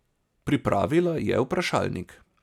Pripravila je vprašalnik.